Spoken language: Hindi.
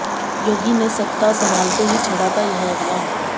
योगी ने सत्ता संभालते ही छेड़ा था यह अभियान